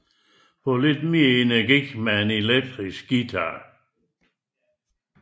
Få lidt mere energi med elektriske guitarer